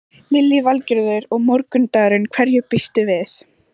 Lillý Valgerður: Og morgundagurinn, hverju býstu við?